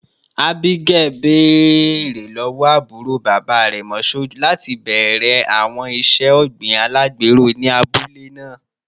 Abigail, beere lọwọ aburo baba rẹ, Mashood, lati bẹrẹ awọn iṣe ogbin alagbero ni abule naa